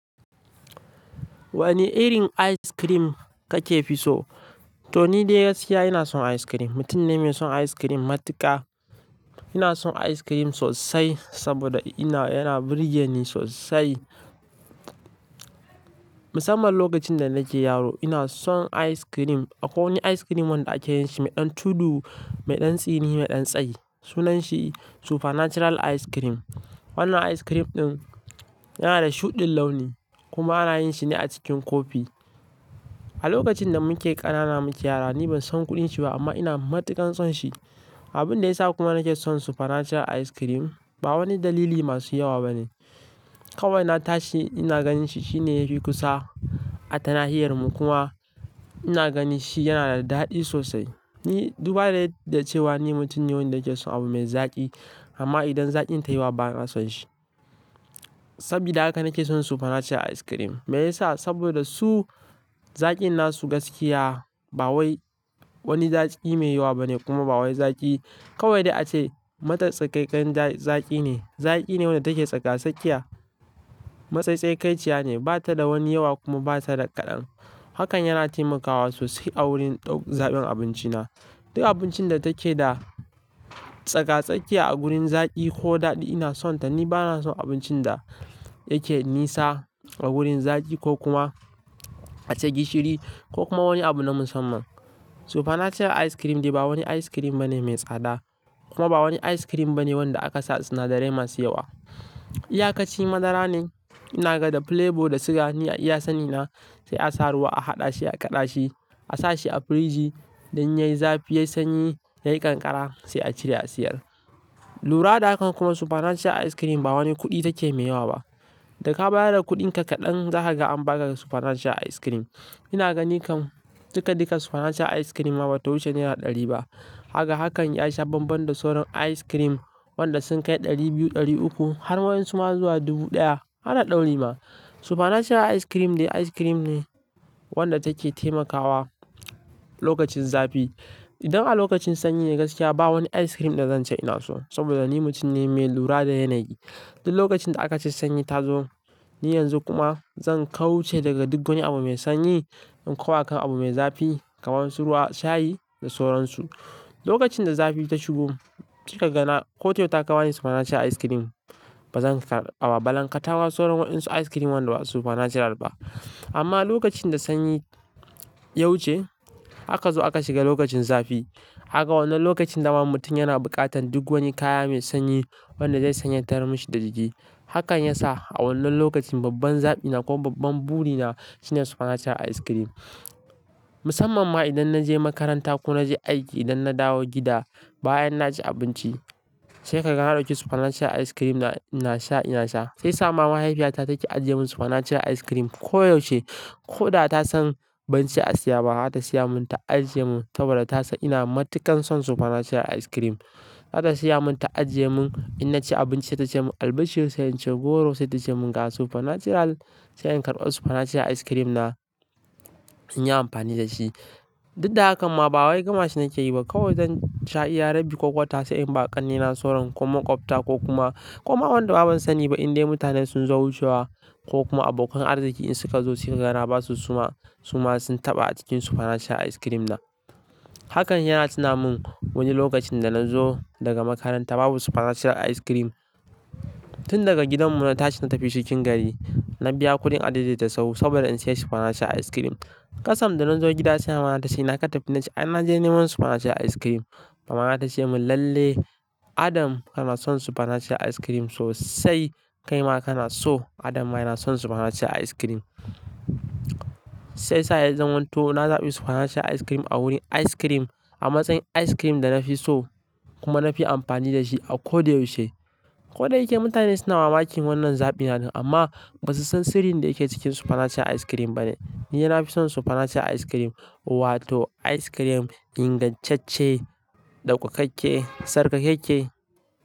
Wane irin ice cream kake fi so? To ni da gaskiya ina son ice cream. Mutum ne mai son ice cream matuƙa. Ina son ice cream sosai saboda yana birge ni sosai. Musamman lokacin da nake yaro ina son ice cream. Akwai wani ice cream wanda ake yin shi mai ɗan tudu, mai ɗan tsini, mai ɗan tsayi. Sunan shi Supernatural ice cream. Wannan ice cream ɗin yana da shuɗin launi kuma ana yin shi ne a cikin kofi. A lokacin da muke ƙanana muke yara, ni ban san kuɗin shi ba amma ina matuƙan son shi. Abin da ya sa kuma nake son Supernatural ice cream ba wani dalili masu yawa bane. Kawai na tashi ina ganin shi. Shi ne yafi kusa a tanahiya'rmu kuma ina gani shi yana da daɗi sosai. Ni, duba da yadda ce wa ni mutum ne wanda yake son abu mai zaƙi amma idan zaƙin tayi yawa bana son shi. Sabida hakan nake son Supernatural ice cream. Meyasa? Saboda su zaƙin nasu gaskiya ba wani zaƙi mai yawa bane kuma ba wani zaƙi kawai da ace matsakaikan zaƙi ne. Zaƙi ne wanda take tsaka-sakiya. Matsatsakaiiya ne, bata da wani yawa kuma bata da kaɗan. Hakan yana taimakawa sosai a wurin ɗau zaban abinci na. Duk abincin da take da tsaka-sakiya a gurin zaƙi ko daɗi ina son ta. Ni bana son abincin da yake nisa a gurin zaƙi ko kuma ace gishiri ko kuma wani abu na musamman. Supernatural ice cream dai ba wani ice cream bane mai tsada. Kuma ba wani ice cream bane wanda aka sa sinadarai masu yawa. Iya kaci madara ne, ina ga da flavor da siga, ni iya sani na, sai a sa ruwa a haɗa shi, a kaɗa shi, a sa shi a firiji dan yayi zafi, yayi sanyi, yayi kankara sai a cire a siyar. Lura da hakan kuma Supernatural ice cream ba wani kuɗi take mai yawa ba. Daka bada da kuɗin ka kaɗan, zaka ga an baka da Supernatural ice cream. Ina gani kam duka duk Supernatural ice cream ma bata wuce naira ɗari ba. Haka hakan ya sha bambam da sauran ice cream wanda sun kai ɗari biyu, ɗari uku har wayen suna zuwa dubu ɗaya. Hana da wuri ma. Supernatural ice cream dai ice cream ne wanda take taimakawa lokacin zafi. Idan a lokacin sanyi ne gaskiya ba wani ice cream da zan ce ina so saboda ni mutum ne mai lura da yanayi. Duk lokacin da aka ci sanyi ta zo, ni yanzu kuma zan kauce daga duk wani abu mai sanyi in kawai kan abu mai zafi kamar su ruwa, shayi da sauransu. Lokacin da zafi ta shigo, ki ka gana ko to ta kawani Supernatural ice cream. Ba zan karɓa ba, ba zan katawa sauran waɗansu ice cream wanda ba Supernatural ba. Amma lokacin da sanyi ya wuce, haka zo aka shiga lokacin zafi. Haka wannan lokacin dama mutum yana buƙatan duk wani kaya mai sanyi wanda zai sanyatar mashi da jiki. Hakan ya sa a wannan lokacin babban zaɓina ko babban buri na shine Supernatural ice cream. Musamman ma idan na je makaranta ko na je aiki, idan na dawo gida, bayan na ci abinci, sai ka ga na ɗauki Supernatural ice cream na ina sha, ina sha. Sai sama mahaifiyata take ajiye mun Supernatural ice cream koyaushe. Ko da ta san ban ce a siya ba, za ta siya mun ta ajiye mun saboda ta san ina matuƙan son Supernatural ice cream. Za ta siya mun ta ajiye mun, idan na ci abinci, ta ce mun, "Albashi, sai in ci goro", sai ta ce mun, "Gasu Supernatural, sai in karɓa Supernatural ice cream na in yi amfani da shi". Duk da hakan ma ba wai gama shi nake yi ba. Kawai zan sha iya rabbi kokota sai in ba ƙannena sauran kuma ƙofta ko kuma, kuma wanda baban sani ba in dai mutane sun zo wucewa ko kuma abokan arziki in suka zo sai ka ga na basu suma, suma sun taɓa a cikin Supernatural ice cream na. Hakan yana cinaman wani lokacin da na zo daga makaranta babu Supernatural ice cream. Tun daga gidan mu na tashi na tafi cikin gari, na biya kuɗin ajeji da sau saboda in siya Supernatural ice cream. Kasam da na zo gida sai mama ta ce, "na katafina ce, in na je ni mun Supernatural ice cream", mama ta ce mun, "Lalle Adam kana son Supernatural ice cream sosai, kai ma kana so Adam ma yana son Supernatural ice cream". Sai sa'ad zan hanto na zaɓi Supernatural ice cream a wurin ice cream a matsayin ice cream da na fi so kuma na fi amfani da shi a koyaushe. Ko da yake mutane suna mamakin wannan zaɓi na amma ba su san sirrin da yake cikin Supernatural ice cream bane. Ni ina fi son Supernatural ice cream wato ice cream ingantacce, ɗaukakakke, sarka-kekke.